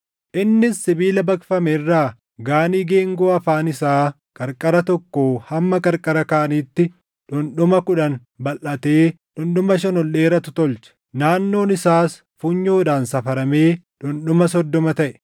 Innis sibiila baqfame irraa Gaanii geengoo afaan isaa qarqara tokkoo hamma qarqara kaaniitti dhundhuma kudhan balʼatee dhundhuma shan ol dheeratu tolche. Naannoon isaas funyoodhaan safaramee dhundhuma soddoma taʼe.